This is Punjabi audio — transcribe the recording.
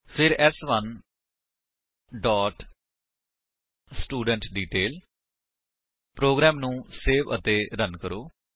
ਫਿਰ ਸ1 ਡੋਟ ਸਟੂਡੈਂਟਡੀਟੇਲ ਪ੍ਰੋਗਰਾਮ ਨੂੰ ਸੇਵ ਅਤੇ ਰਨ ਕਰੋ